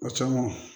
O caman